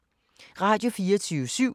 Radio24syv